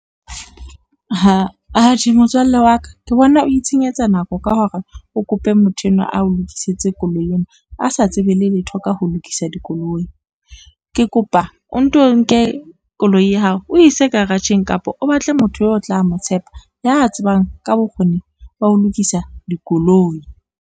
Atjhe motswalle wa ka ke bona o itshenyetsa nako ka hore o kope motho enwa a o lokisetse koloi ena, a sa tsebe leletho ka ho lokisa dikoloi. Ke kopa o nto nke koloi ya hao, o ise garage-ng kapa o batle motho eo o tla mo tshepa ya tsebang ka bokgoni ba ho lokisa dikoloi.